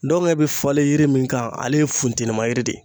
Ndɔnkɛ be falen yiri mun kan ale ye funteni ma yiri de ye.